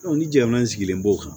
ni jamana sigilen b'o kan